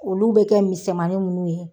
Olu bɛ kɛ misɛnmanin ninnu ye.